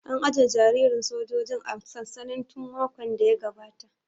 An aje jariran sojojin a sansani tun makon da ya gabata